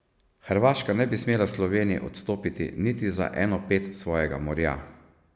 Hrvaška ne bi smela Sloveniji odstopiti niti za eno ped svojega morja.